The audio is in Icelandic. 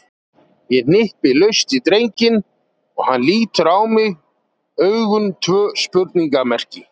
Ég hnippi laust í drenginn og hann lítur á mig, augun tvö spurningarmerki.